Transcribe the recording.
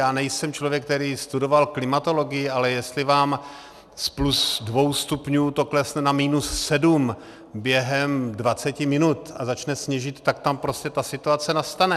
Já nejsem člověk, který studoval klimatologii, ale jestli vám z plus dvou stupňů to klesne na minus sedm během 20 minut a začne sněžit, tak tam prostě ta situace nastane.